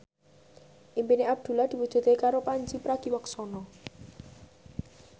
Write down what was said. impine Abdullah diwujudke karo Pandji Pragiwaksono